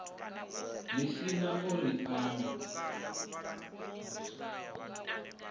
lisani o ri o no